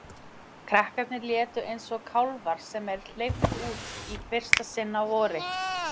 Krakkarnir létu eins og kálfar sem er hleypt út í fyrsta sinn á vori.